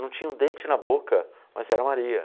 Não tinha um dente na boca, mas era Maria.